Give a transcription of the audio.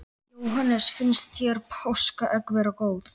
Jóhannes: Finnst þér páskaegg vera góð?